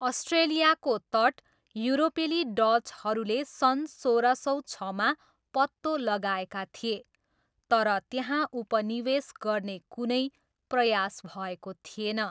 अस्ट्रेलियाको तट युरोपेली डचहरूले सन् सोह्र सौ छमा पत्तो लगाएका थिए, तर त्यहाँ उपनिवेश गर्ने कुनै प्रयास भएको थिएन।